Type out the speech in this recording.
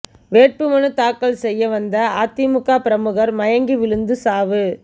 வேட்பு மனு தாக்கல் செய்ய வந்த அதிமுக பிரமுகர் மயங்கி விழுந்து சாவு